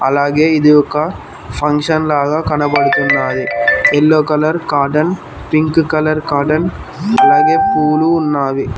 అలాగే ఇది ఒక ఫంక్షన్ లాగా కనబడుతున్నాయి yellow colour cotton pink colour cotton అలాగే పూలు ఉన్నావి.